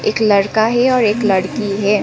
एक लड़का है और एक लड़की है।